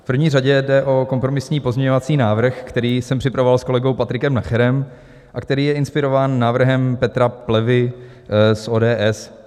V první řadě jde o kompromisní pozměňovací návrh, který jsem připravoval s kolegou Patrikem Nacherem a který je inspirován návrhem Petra Plevy z ODS.